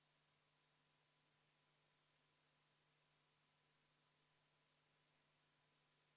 Kas teie arvates on seda vaja konkreetselt selleks, et lihtsalt täita riigieelarvet, kuna vahepeal on tekkinud eelarveaugud, või on sellele ka mingi ratsionaalsem seletus olemas?